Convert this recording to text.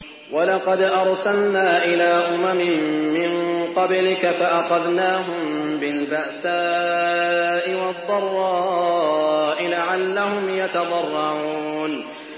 وَلَقَدْ أَرْسَلْنَا إِلَىٰ أُمَمٍ مِّن قَبْلِكَ فَأَخَذْنَاهُم بِالْبَأْسَاءِ وَالضَّرَّاءِ لَعَلَّهُمْ يَتَضَرَّعُونَ